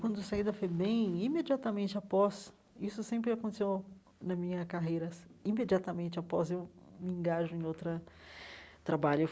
Quando saí da FEBEM, imediatamente após... Isso sempre aconteceu na minha carreiras, imediatamente após eu me engajo em outra trabalho.